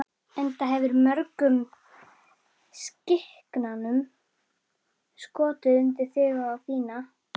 Enda hefurðu mörgum skikanum skotið undir þig og þína.